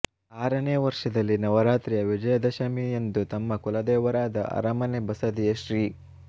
ಆರನೇ ವರ್ಷದಲ್ಲಿ ನವರಾತ್ರಿಯ ವಿಜಯದಶಮಿ ಯಂದು ತಮ್ಮ ಕುಲದೇವರಾದ ಅರಮನೆ ಬಸದಿಯ ಶ್ರೀ